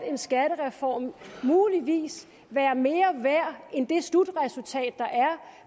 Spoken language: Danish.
en skattereform muligvis være mere værd end det slutresultat der er